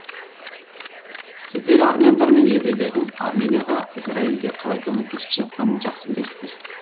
сіздер армяндар мен еврейлердің арменияға израильге қалай көмектесіп жатқанын жақсы білесіздер